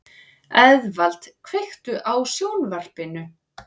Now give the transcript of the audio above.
Eðvald, kveiktu á sjónvarpinu.